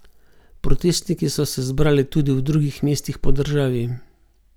Protestniki so se zbrali tudi v drugih mestih po državi.